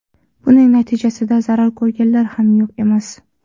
Buning natijasida zarar ko‘rganlar ham yo‘q emas.